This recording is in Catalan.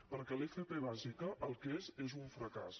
perquè l’fp bàsica el que és és un fracàs